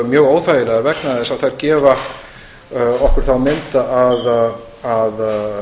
mjög óþægilegar vegna þess að þær gefa okkur þá mynd að